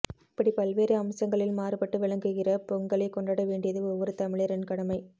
இப்படிப் பல்வேறு அம்சங்களில் மாறுபட்டு விளங்குகிற பொங்கலைக் கொண்டாட வேண்டியது ஒவ்வொரு தமிழரின் கடமை